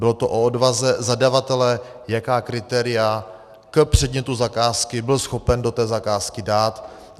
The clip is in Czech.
Bylo to o odvaze zadavatele, jaká kritéria k předmětu zakázky byl schopen do té zakázky dát.